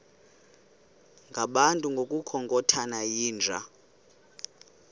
ngabantu ngokukhothana yinja